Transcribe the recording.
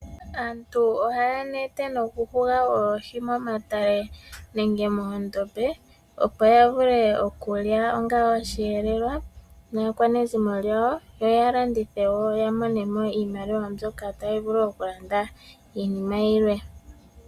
Aantu ohaya nete nokuhuga oohi momatale nenge moondombe opo ya vule okulya onga oshiyelelwa naakwanezimo lyawo yo ya landithe wo ya mone mo iimaliwa mbyoka tayi vulu okulanda iinima yimwe.